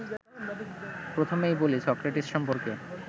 প্রথমেই বলি সক্রেটিস সম্পর্কে